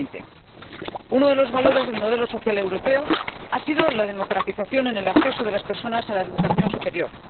2020. Uno de los valores del modelo social europeo ha sido la democratización en el acceso de las personas a la educación superior.